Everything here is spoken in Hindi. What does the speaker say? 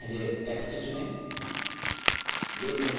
पहले text चुनें